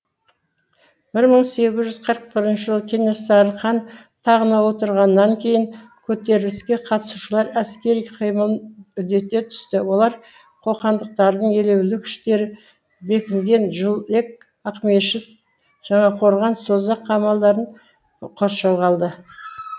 бір мың сегіз жүз қырық бірінші жылы кенесары хан тағына отырғаннан кейін көтеріліске қатысушылар әскери қимылын үдете түсті олар қоқандықтардың елеулі күштері бекінген жүлек ақмешіт жаңақорған созақ қамалдарын қоршауға алды